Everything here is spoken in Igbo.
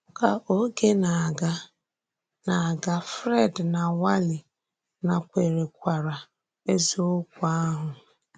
Kà ògé na-aga, na-aga, Fred na Wally nàkwèrèkwarà ezìokwu ahụ.